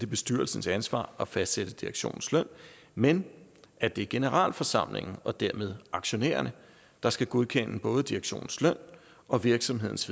bestyrelsens ansvar at fastsætte direktionens løn men at det er generalforsamlingen og dermed aktionærerne der skal godkende både direktionens løn og virksomhedens